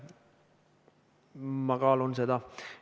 Ma kaalun seda.